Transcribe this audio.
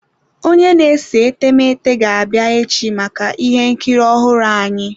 Onye na-ese etemeete ga-abịa echi maka ihe nkiri ọhụrụ ahụ.